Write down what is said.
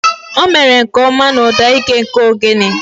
O mere nke ọma na ụda ike nke ogene.